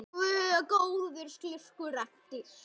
Góður slurkur eftir.